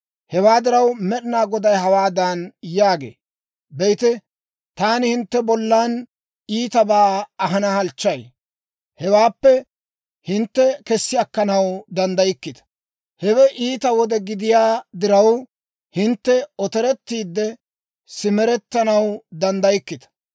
Hewaa diraw, Med'ina Goday hawaadan yaagee; «Be'ite, taani hintte bollan iitabaa ahanaw halchchay; hewaappe hintte kessi akkanaw danddaykkita. Hewe iita wode gidiyaa diraw, hintte otorettiidde simerettanaw danddaykkita.